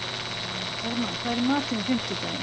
Hermann, hvað er í matinn á fimmtudaginn?